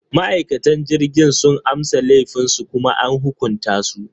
Ma’aikatan jirgin sun amsa laifinsu kuma an hukunta su.